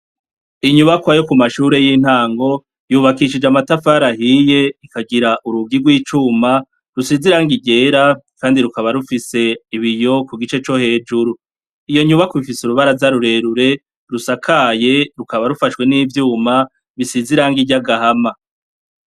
Inyubakwa yo kumashure y'intango yubakishijwe amatafari ahiye, akagira urugi rw'icuma rusize irangi ryera kandi rukaba rufise ibiyo kugice co hejuru. Iyo nyubakwa ifise urubaraza rurerure rusakaye, rukaba rufashwe n'ivyuma bisize irangi ry'agahama.